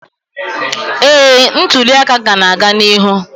ee, ntuli aka ka na-aga n'ihu